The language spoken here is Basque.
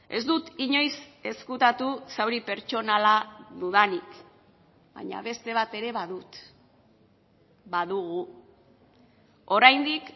ez dut inoiz ezkutatu zauri pertsonala dudanik baina beste bat ere badut badugu oraindik